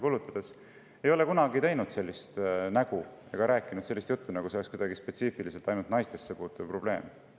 Mina enda teada ei ole kunagi teinud sellist nägu ega rääkinud sellist juttu, nagu see oleks kuidagi spetsiifiliselt ainult naistesse puutuv probleem.